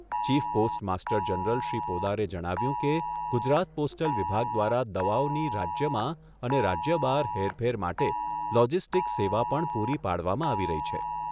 Chief post master general Shri પોદારે જણાવ્યું કે ગુજરાત પોસ્ટલ વિભાગ દ્વારા દવાઓની રાજ્યમાં અને રાજ્ય બહાર હેરફેર માટે લોજિસ્ટિક સેવા પણ પૂરી પાડવામાં આવી રહી છે.